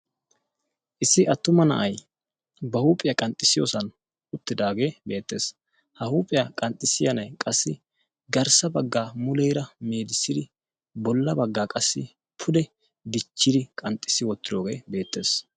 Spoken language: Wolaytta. issi attuma na'ay ba huuphiyaa qanxxissiyoosan uttidaagee beettees ha huuphiyaa qanxxissiyaa nay qassi garssa baggaa muleera meedissidi bolla baggaa qassi pude dichchidi qanxxissi wottiroogee beettees